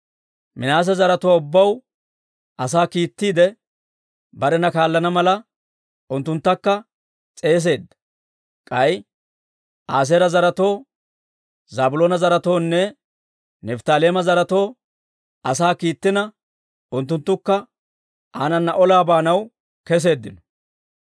Minaase zaratuwaa ubbaw asaa kiittiide, barena kaallana mala unttunttakka s'eesisseedda. K'ay Aaseera zaretoo, Zaabiloona zaretoonne Nifttaaleema zaretoo asaa kiittina, unttunttukka aanana olaa baanaw keseeddino.